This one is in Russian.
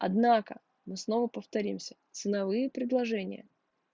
однако мы снова повторимся ценовые предложения